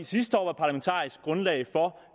sidste år var parlamentarisk grundlag for